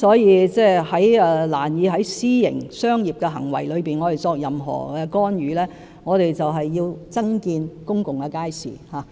我們難以對私營商業行為作任何干預，所以我們要增建公共街市。